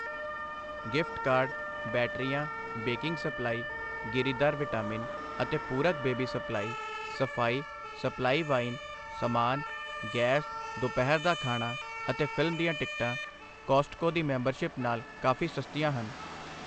gift card, ਬੈਟਰੀਆਂ, baking supply, ਗਿਰੀਦਾਰ vitamin ਅਤੇ ਪੂਰਕ ਬੇਬੀ ਸਪਲਾਈ, ਸਫ਼ਾਈ, ਸਪਲਾਈ ਵਾਈਨ, ਸਮਾਨ, ਗੈਸ, ਦੁਪਹਿਰ ਦਾ ਖਾਣਾ ਅਤੇ ਫ਼ਿਲਮ ਦੀਆਂ ਟਿਕਟਾਂ ਕੌਸਟਕੋ ਦੀ ਮੈਂਬਰਸ਼ਿਪ ਨਾਲ ਕਾਫੀ ਸਸਤੀਆਂ ਹਨ